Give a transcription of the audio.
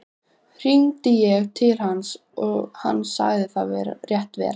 Hringdi ég til hans og sagði hann það rétt vera.